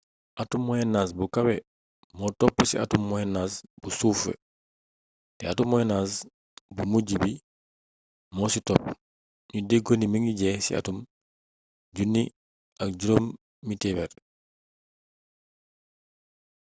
atum moyen age bu kawe moo topp atum moyen age bu suufe te atum moyen age bu mujj bi moo ci top ñu déggoo ni mingi jeex ci atum 1500